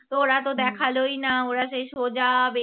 তোরা তো দেখালোই না ওরা সেই সোজা